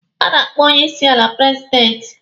A na-akpọ onye isi ala prezidenti.